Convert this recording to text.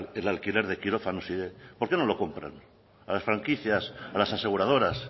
el alquiler de quirófanos por qué no lo compran a las franquicias a las aseguradoras